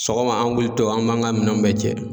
Sɔgɔma an wuli tɔ an b'an ka minɛnw bɛɛ cɛ.